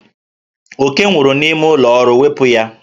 Oke nwụrụ n'ime ụlọ ọrụ, wepụ ya!